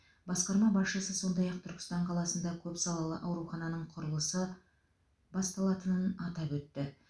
басқарма басшысы сондай ақ түркістан қаласында көпсалалы аурухананың құрылысы басталатынын атап өтті